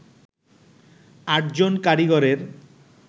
৮ জন কারিগরের